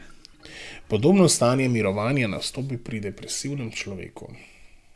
Podobno stanje mirovanja nastopi pri depresivnem človeku.